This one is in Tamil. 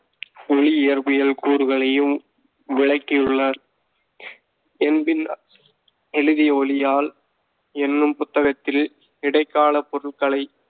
ஒளி இயற்பியல் கூறுகளையும் விளக்கியுள்ளார். எம்பின் எழுதிய ஒளியால் என்னும் புத்தகத்தில், இடைக்கால பொருள்களைப்